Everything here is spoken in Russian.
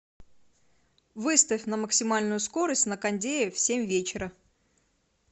выставь на максимальную скорость на кондее в семь вечера